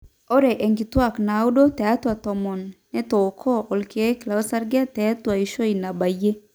ore inkituaak naaudo tiatwa tomon netooko irkeek losarge tentuaishu nabayie